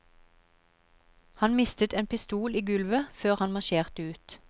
Han mistet en pistol i gulvet før han marsjerte ut.